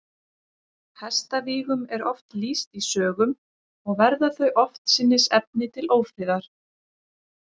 Hestavígum er oft lýst í sögum, og verða þau oftsinnis efni til ófriðar.